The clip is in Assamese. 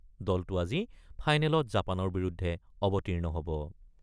দলটো আজি ফাইনেলত জাপানৰ বিৰুদ্ধে অৱতীৰ্ণ হ'ব।